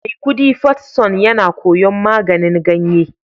Maikudi first son yana koyon maganin ganye